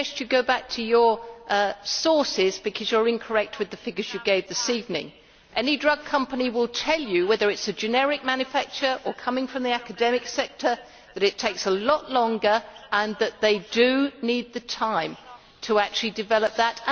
May I suggest you go back to your sources, because you are incorrect with the figures you gave this evening. Any drug company will tell you, whether it is a generic manufacture or coming from the academic sector, that it takes a lot longer, and that they do need the time to actually develop that.